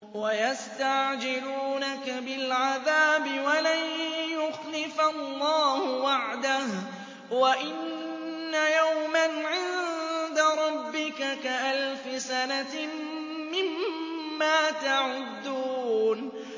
وَيَسْتَعْجِلُونَكَ بِالْعَذَابِ وَلَن يُخْلِفَ اللَّهُ وَعْدَهُ ۚ وَإِنَّ يَوْمًا عِندَ رَبِّكَ كَأَلْفِ سَنَةٍ مِّمَّا تَعُدُّونَ